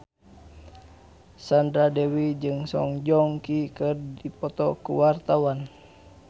Sandra Dewi jeung Song Joong Ki keur dipoto ku wartawan